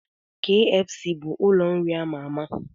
Kfc bụ ụlọ nri ama ama